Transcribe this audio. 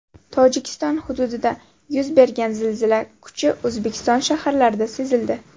Tojikiston hududida yuz bergan zilzila kuchi O‘zbekiston shaharlarida sezildi.